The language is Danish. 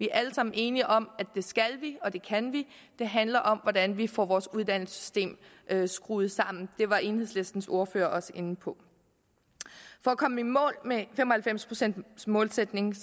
alle sammen enige om at det skal vi og det kan vi det handler om hvordan vi får vores uddannelsessystem skruet sammen og det var enhedslistens ordfører også inde på for at komme i mål med fem og halvfems procents målsætningen